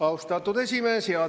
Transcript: Austatud esimees!